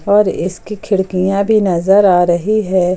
और इसकी खिड़कियां भी नजर आ रही है।